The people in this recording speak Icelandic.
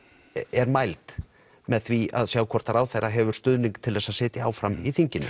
er mæld með því að sjá hvort ráðherra hefur stuðning til þess að sitja áfram í þinginu